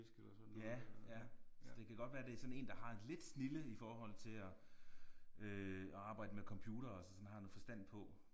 Ja ja så det kan godt være det sådan en der har lidt snilde i forhold til at øh at arbejde med computere altså sådan har noget forstand på